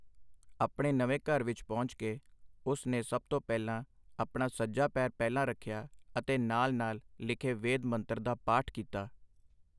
ਆਪਣੇ ਨਵੇਂ ਘਰ ਵਿਚ ਪਹੁੰਚ ਕੇ ਉਸ ਨੇ ਸਭ ਤੋਂ ਪਹਿਲਾਂ ਆਪਣਾ ਸੱਜਾ ਪੈਰ ਪਹਿਲਾਂ ਰੱਖਿਆ ਅਤੇ ਨਾਲ-ਨਾਲ ਲਿਖੇ ਵੇਦ ਮੰਤਰ ਦਾ ਪਾਠ ਕੀਤਾ।